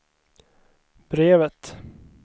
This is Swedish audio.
brevet